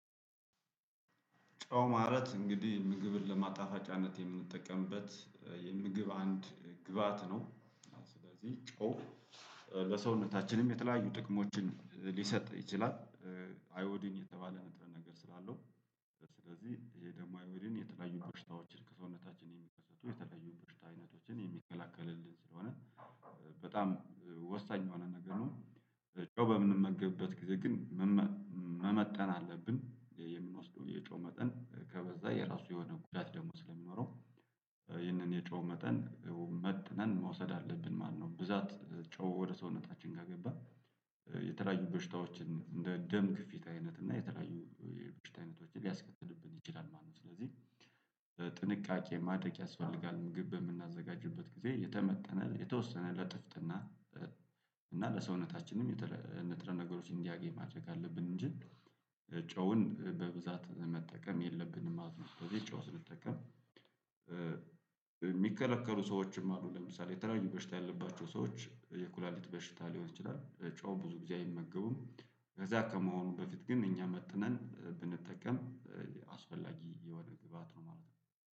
ጨው ማለት እንግዲህ ምግብን ለማጣፋጫነት የምንጠቀምበት የምግብ አንድ ግብአት ነው። ስለዚህ ጨው ለሰውነታችንም የተለያዩ ጥቅሞችን ሊሰጥ ይችላል። አዮዲን የተባለ ነጥረ ነገር ስላለው ስለዚህ ይሄ ደግሞ አዮዲን የተለያዩ በሽታዎችን ከሰውነታችን የሚከሰቱ የተለያዩ በሽታ አይነቶችን የሚከላከልልን ስለሆነ በጣም ወሳኝ የሆነ ነገር ነው ጨው በምንመገበት ጊዜ ግን መመ መመጠን አለብን የምንወስደው የጨው መጠን ከበዛ የራሱ የሆነ ጉዳት ደግሞ ስለሚኖረው ይህንን የጨው መጠን መጥነን መውሰድ አለብን ማነው። ብዛት ጨው ወደ ሰውነታችን ጋር ከገባ የተለያዩ በሽታዎችን እንደ ደም ግፊት አይነት እና የተለያዩ በሽታ አይነቶችን ሊያስከትልብን ይችላል ማለት ነው። ስለዚህ ጥንቃቄ ማድረግ ያስፈልጋል። ምግብ በምናዘጋጅበት ጊዜ የተመጠነ የተወሰነ ለጥፍጥና እና ለሰውነታችንም ንጥረ ነገሮች እንዲያገኝ ማድረግ አለብን እንጂ ጨውን በብዛት መጠቀም የለብንም ማለት ነው። ስለዚህ ጨው ስንጠቀም የሚከለከሉ ሰዎችም አሉ። ለምሳሌ የተለያዩ በሽታ ያለባቸው ሰዎች የኩላሊት በሽታ ሊሆን ይችላል ጨው ብዙ ጊዜ አይመገቡም። ከዛ ከመሆኑ በፊት ግን እኛ መጥነን ብንጠቀም አስፈላጊ የሆነ ግብአት ነው ማለት ነው።